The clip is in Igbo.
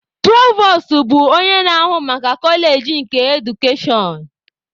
Provos bụ onye na-ahụ maka koleji nke edukashọn.